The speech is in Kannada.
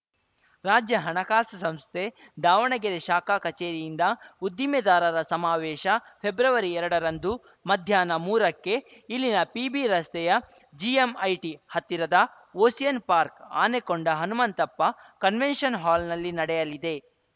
ರಾಜ್ಯ ಹಣಕಾಸು ಸಂಸ್ಥೆ ದಾವಣಗೆರೆ ಶಾಖಾ ಕಚೇರಿಯಿಂದ ಉದ್ದಿಮೆದಾರರ ಸಮಾವೇಶ ಫೆಬ್ರವರಿಎರಡರಂದು ಮಧ್ಯಾಹ್ನ ಮೂರಕ್ಕೆ ಇಲ್ಲಿನ ಪಿಬಿ ರಸ್ತೆಯ ಜಿಎಂಐಟಿ ಹತ್ತಿರದ ಓಸಿಯನ್‌ ಪಾರ್ಕ್ ಆನೆಕೊಂಡ ಹನುಮಂತಪ್ಪ ಕನ್ವೆನ್ಷನ್‌ಹಾಲ್‌ನಲ್ಲಿ ನಡೆಯಲಿದೆ